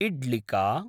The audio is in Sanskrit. इड्लिका